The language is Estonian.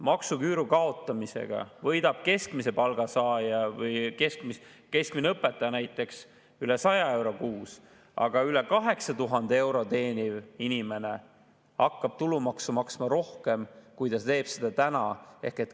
Maksuküüru kaotamisega võidab keskmise palga saaja, keskmine õpetaja näiteks üle 100 euro kuus, aga üle 8000 euro teeniv inimene hakkab tulumaksu maksma rohkem, kui ta teeb seda täna.